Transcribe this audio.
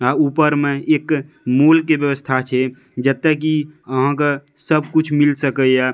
हां ऊपर में एक मूल के व्यवस्था छै जेएता की आहां के सब कुछ मिल सकय ये।